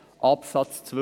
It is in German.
» Absatz 2: